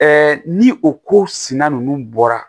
ni o ko sina ninnu bɔra